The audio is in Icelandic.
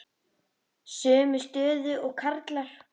Sömu stöðu og karlar.